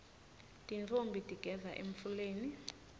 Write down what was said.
tintfombi tigeza emfuleni